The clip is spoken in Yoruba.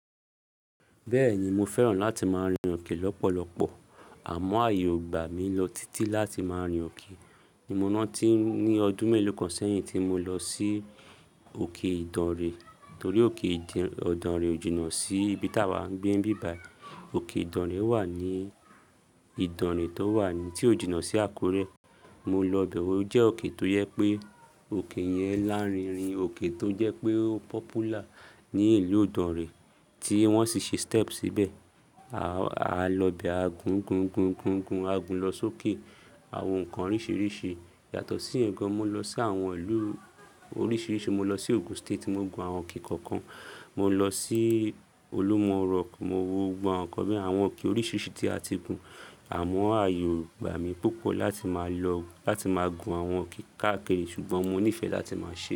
Bẹ́ẹ̀ ni mo fẹ́ràn láti máa rin òkè lọ́pọ̀lọpọ̀, àmọ́ ààyè gbà mí lọ títí láti máa rin òkè. Mo rántí ní ọdún mélòó kan sẹ́yìn tí mo lọ sí òkè Ìdànrè torí òkè Ìdànrè ò jìnà sí ibi tá wa ń gbé ní bí báyìí. Òkè Ìdànrè wà ní Ìdànrè tó wà ní tí ó jìnà sí Àkúrẹ́. Mo lọ bẹ̀ ọ́, ó jẹ́ òkè tó jẹ́ pé òkè yẹn lárinrin, òkè tó jẹ́ pé ó popular ní ìlú Ìdànrè tí wọ́n sì ṣe step síbẹ̀. A lọ bẹ̀, a gun, gun, gun, gun, gun, a gun lọ sókè, àwọn nǹkan oríṣiríṣi. Yàtọ̀ sí ẹ̀ gàn mo lọ sí àwọn ìlú oríṣiríṣi, mo lọ sí Ogun State mo gun àwọn òkè kọ̀ọ̀kan. Mo lọ sí Olúmọrọ̀kùn mo wo gbọ̀n àwọn kọ̀ọ̀kan bí i àwọn òkè oríṣiríṣi tí a ti gùn. Àmọ́ ààyò gbà mí púpọ̀ láti máa lọ láti máa gun àwọn òkè káàkiri ṣùgbọ́n mo nífẹ̀ẹ́ láti máa ṣe é.